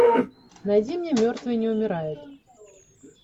найди мне мертвые не умирают